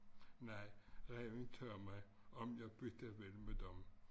Nej ræven tage mig om jeg bytte vil med dem